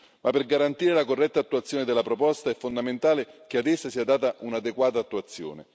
Ma per garantire la corretta attuazione della proposta è fondamentale che a essa sia data un'adeguata attuazione.